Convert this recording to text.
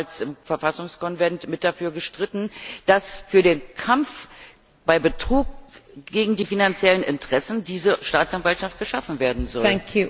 Ich habe damals im Verfassungskonvent mit dafür gestritten, dass für den Kampf bei Betrug gegen die finanziellen Interessen diese Staatsanwaltschaft geschaffen werden soll.